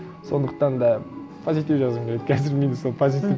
сондықтан да позитив жазғым келеді қазір менде сол позитив